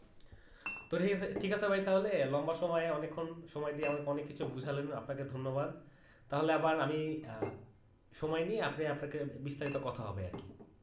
তো ভাই ঠিক আছে ভাই তাহলে লম্বা সময় অনেকক্ষণ সময় দিয়ে আমাকে অনেক কিছু বোঝালেন আপনাকে ধন্যবাদ তাহলে আবার আমি সময় নিয়ে আপনি আপনাকে বিস্তারিত কথা হবে আর কি